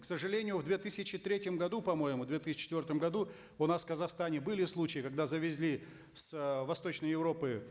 к сожалению в две тысячи третьем году по моему две тысячи четвертом году у нас в казахстане были случаи когда завезли с э восточной европы